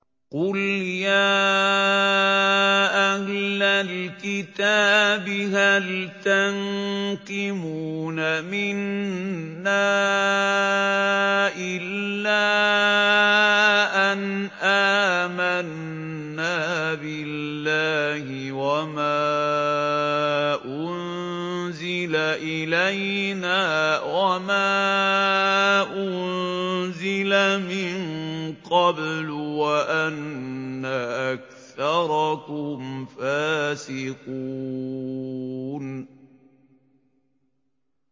قُلْ يَا أَهْلَ الْكِتَابِ هَلْ تَنقِمُونَ مِنَّا إِلَّا أَنْ آمَنَّا بِاللَّهِ وَمَا أُنزِلَ إِلَيْنَا وَمَا أُنزِلَ مِن قَبْلُ وَأَنَّ أَكْثَرَكُمْ فَاسِقُونَ